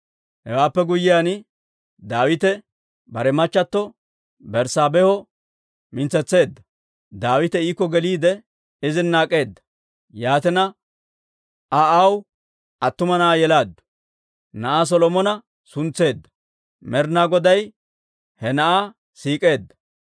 Hewaappe guyyiyaan, Daawite bare machchato Berssaabeeho mintsetseedda. Daawite iikko geliide izina ak'eeda; yaatina, Aa aw attuma na'aa yelaaddu; na'aa Solomona suntseedda; Med'inaa Goday he na'aa siik'eedda.